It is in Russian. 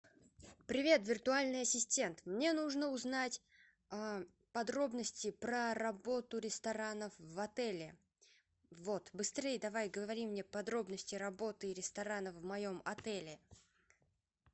привет виртуальный ассистент мне нужно узнать подробности про работу ресторанов в отеле вот быстрей давай говори мне подробности работы ресторанов в моем отеле